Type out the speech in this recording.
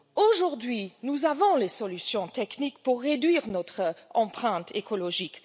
Aujourd'hui, nous avons les solutions techniques pour réduire notre empreinte écologique.